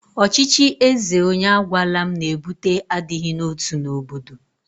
Ọchịchị eze onye agwala m na-ebute adịghị n'otu n'obodo.